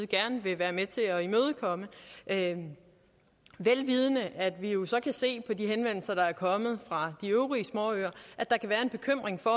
gerne vil være med til at imødekomme vel vidende at vi jo så kan se på de henvendelser der er kommet fra de øvrige småøer at der kan være en bekymring for